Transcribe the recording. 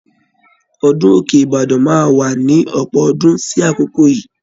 Ọdún Òkè-Ìbàdàn máa wà ni ọ̀pọ̀ ọdún sí àkokò yíì.